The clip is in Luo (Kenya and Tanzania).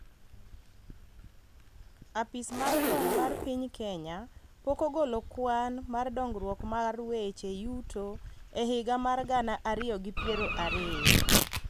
Apis mar kwan mar piny Kenya pok ogolo kwan mar dongruok mar weche yuto e higa mar gana ariyo gi piero ariyo,